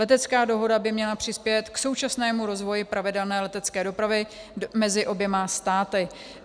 Letecká dohoda by měla přispět k současnému rozvoji pravidelné letecké dopravy mezi oběma státy.